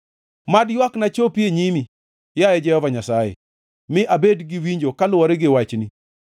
Mad ywakna chopi e nyimi, yaye Jehova Nyasaye; mi abed gi winjo kaluwore gi wachni.